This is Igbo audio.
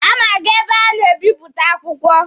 A ma aga ebe a na-ebịpụta akwụkwọ.